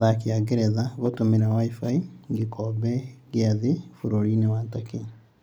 Athaki Angeretha gũtũmira Wi-fi gĩkombe kĩa thĩĩ bũrũrinĩ Turkey